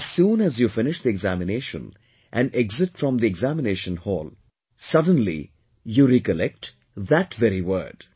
But as soon as you finish the examination and exit from the examination hall, suddenly you recollect that very word